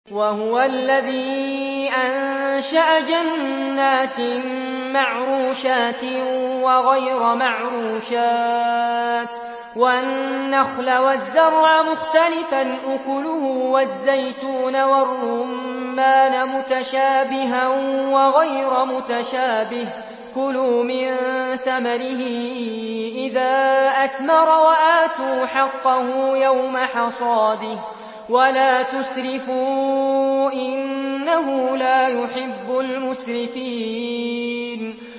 ۞ وَهُوَ الَّذِي أَنشَأَ جَنَّاتٍ مَّعْرُوشَاتٍ وَغَيْرَ مَعْرُوشَاتٍ وَالنَّخْلَ وَالزَّرْعَ مُخْتَلِفًا أُكُلُهُ وَالزَّيْتُونَ وَالرُّمَّانَ مُتَشَابِهًا وَغَيْرَ مُتَشَابِهٍ ۚ كُلُوا مِن ثَمَرِهِ إِذَا أَثْمَرَ وَآتُوا حَقَّهُ يَوْمَ حَصَادِهِ ۖ وَلَا تُسْرِفُوا ۚ إِنَّهُ لَا يُحِبُّ الْمُسْرِفِينَ